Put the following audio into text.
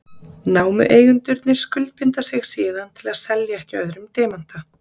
Námueigendurnir skuldbinda sig síðan til að selja ekki öðrum demanta.